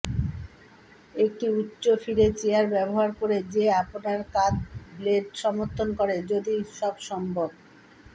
একটি উচ্চ ফিরে চেয়ার ব্যবহার করে যে আপনার কাঁধ ব্লেড সমর্থন করে যদি সব সম্ভব